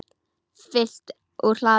Fylgt úr hlaði